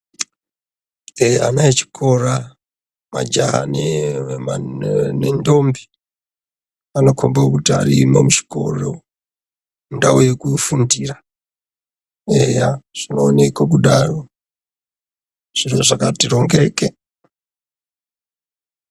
Eya, ana echikora majaha nendombi, anokhomba kuti arimo muchikoro mundau yekufundira eya zvino oneka kudaro, zviro zvakati rongeke.